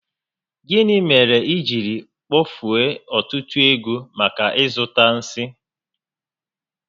Gịnị mere i jiri kpofue ọtụtụ ego maka ịzụta nsi?